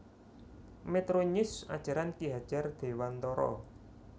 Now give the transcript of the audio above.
Metronews Ajaran Ki Hajar Dewantara